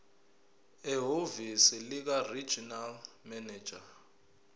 ehhovisi likaregional manager